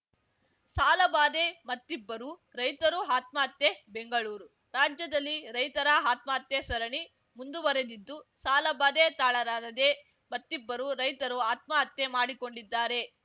ಸಾಲಬಾಧೆ ಮತ್ತಿಬ್ಬರು ರೈತರು ಆತ್ಮಹತ್ಯೆ ಬೆಂಗಳೂರು ರಾಜ್ಯದಲ್ಲಿ ರೈತರ ಆತ್ಮಹತ್ಯೆ ಸರಣಿ ಮುಂದುವರೆದಿದ್ದು ಸಾಲಬಾಧೆ ತಾಳಲಾರದೆ ಮತ್ತಿಬ್ಬರು ರೈತರು ಆತ್ಮಹತ್ಯೆ ಮಾಡಿಕೊಂಡಿದ್ದಾರೆ